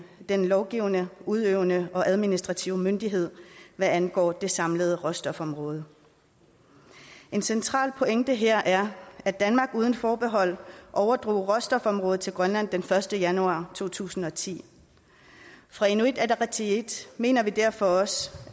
den lovgivende udøvende og administrative myndighed hvad angår det samlede råstofområde en central pointe her er at danmark uden forbehold overdrog råstofområdet til grønland den første januar to tusind og ti fra inuit ataqatigiits mener vi derfor også